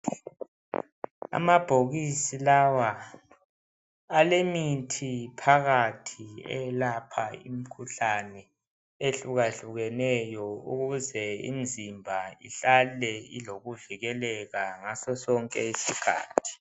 Amabhokisi lawa alemithi phakathi eyelapha imikhuhlane eyehluke hlukeneyo ukuze imizimba ihlale ilokuvikeleka ngaso sonke isikhathi.